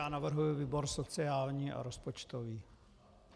Já navrhuji výbor sociální a rozpočtový.